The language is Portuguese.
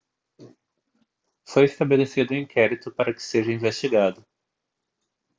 foi estabelecido um inquérito para que seja investigado